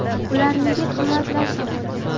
Ular nega qimmatlashdi?.